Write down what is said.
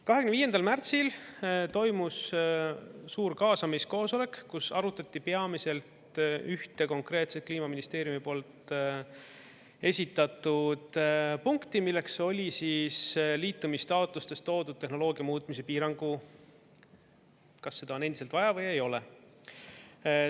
25. märtsil toimus suur kaasamiskoosolek, kus arutati peamiselt ühte konkreetset Kliimaministeeriumi poolt esitatud punkti, milleks oli liitumistaotlustes toodud tehnoloogia muutmise piirang, kas seda on endiselt vaja või ei ole.